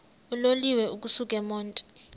uloliwe ukusuk emontini